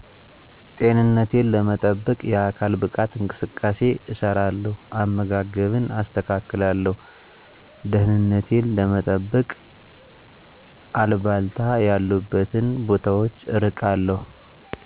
ጤንነቴን ለመጠበቅ የአካል ብቃት እንቅስቃሴ እሰራለው አመጋገብን አስተካክላለሁ ደህንነቴን ለመጠበቅ አልባልታ ያሉበትን ቦታወች እርቃለው